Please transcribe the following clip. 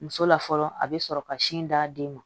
Muso la fɔlɔ a bɛ sɔrɔ ka sin d'a den ma